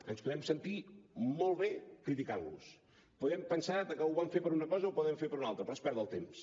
ens podem sentir molt bé criticant los podem pensar que ho van fer per una cosa o que ho van fer per una altra però és perdre el temps